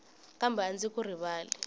kambe a ndzi ku rivali